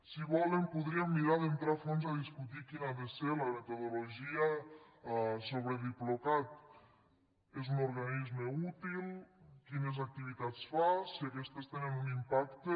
si volen podríem mirar d’entrar a fons a discutir quina ha de ser la metodologia sobre diplocat és un organisme útil quines activitats fa si aquestes tenen un impacte